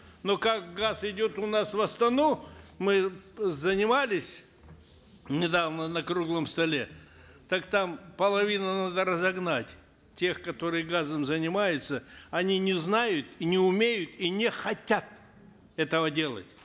но как газ идет у нас в астану мы занимались недавно на круглом столе так там половину надо разогнать тех которые газом занимаются они не знают и не умеют и не хотят этого делать